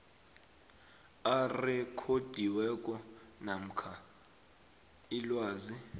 arekhodiweko namkha ilwazi